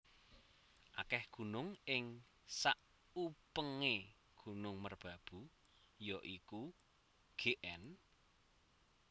Akeh gunung ing sakupengé Gunung Merbabu ya iku Gn